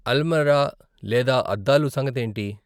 అల్మరా లేదా అద్దాలు సంగతేంటి?